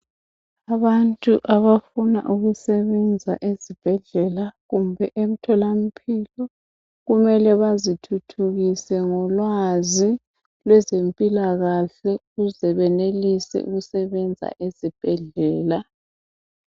Abantu abafuna ukusebenza ezibhedlela kumbe emtholampilo kumele bazithuthukise ngolwazi lwezempilakahle ukuze benelise ukusebenza ezibhedlela.